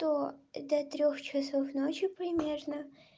то до трёх часов ночи примерно